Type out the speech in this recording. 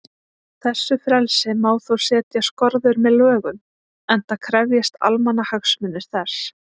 Þessu frelsi má þó setja skorður með lögum, enda krefjist almannahagsmunir þess.